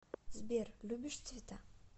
сбер любишь цвета